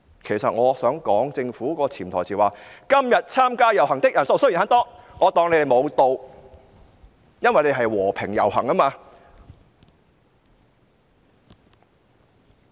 "其實政府的潛台詞是："今天參加遊行的人數雖然很多，我卻當他們無到"，因為大家是和平遊行。